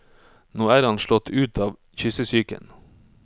Nå er han slått ut av kyssesyken.